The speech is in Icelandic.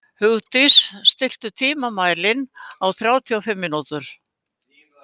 Hugdís, stilltu tímamælinn á þrjátíu og fimm mínútur.